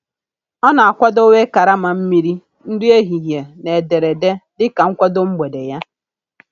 Ọ na-akwadowe karama mmiri, nri ehihie, na ederede dịka nkwado mgbede ya.